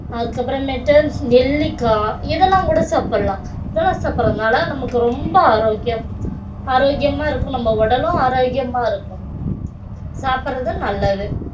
அதுக்கப்புறமேட்டு நெல்லிக்காய் இதெல்லாம் கூட சாப்பிடலாம் இதெல்லாம் சாப்பிடறதுனால நமக்கு ரொம்ப ஆரோக்கியம் ஆரோக்கியமா இருக்கும் நம்ம உடலும் ஆரோக்கியமா இருக்கும் சாப்பிடுறது நல்லது